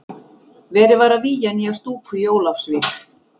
Verið var að vígja nýja stúku í Ólafsvík.